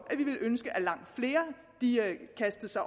at langt flere kastede sig